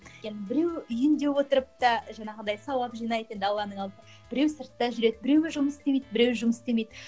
енді біреуі үйінде отырып та жаңағындай сауап жинайды енді алланың алдында біреуі сыртта жүреді біреуі жұмыс істемейді біреуі жұмыс істемейді